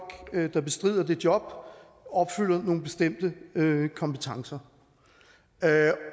der bestrider det job opfylder nogle bestemte kompetencer